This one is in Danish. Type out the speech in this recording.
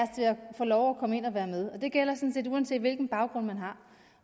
få lov at komme ind og være med det gælder sådan set uanset hvilken baggrund man har